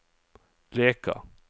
Leka